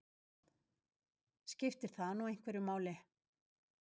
Skiptir það nú einhverju máli?